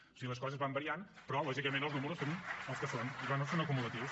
o sigui les coses van variant però lògicament els números són els que són i bé són acumulatius